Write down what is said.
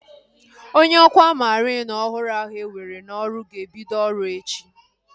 Onye ọkwá mariin ọhụrụ ahu ewere n'ọrụ ga-ebido ọrụ echi